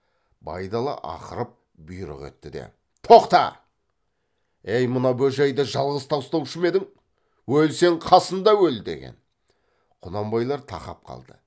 байдалы ақырып бұйрық етті де тоқта ей мына бөжейді жалғыз тастаушы ма едің өлсең қасында өл деген құнанбайлар тақап қалды